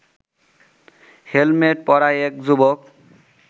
helmet পড়া এক যুবক